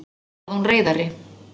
svaraði hún reiðari.